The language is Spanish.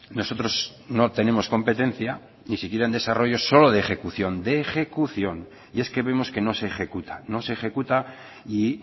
nosotros no tenemos competencia ni siquiera en desarrollo solo de ejecución de ejecución y es que vemos que no se ejecuta no se ejecuta y